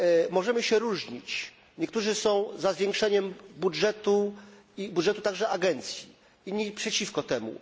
Możemy się różnić niektórzy są za zwiększaniem budżetu i budżetu także agencji, inni przeciwko temu.